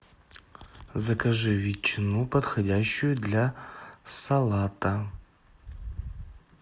закажи ветчину подходящую для салата